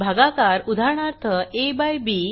भागाकार उदाहरणार्थ aबी